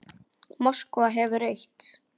Moskva hefur eitt.